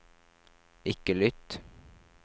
ikke lytt